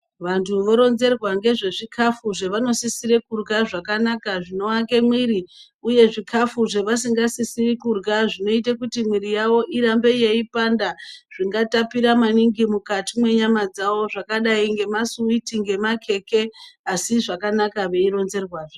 Vantu voronzerwa ngezvezvikafu zvevanosisire kurya zvakanaka zvinoake mwiri uye zvikafu zvevasingasisi kurya zvinoita kuti mwiri yavo irambe yeipanda zvingatapira maningi mukati menyama dzavo zvakadai ngemasuwiti ngemakheke asi zvakanaka veironzerwazve.